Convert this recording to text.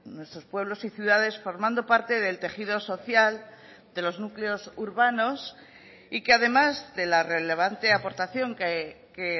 nuestros pueblos y ciudades formando parte del tejido social de los núcleos urbanos y que además de la relevante aportación que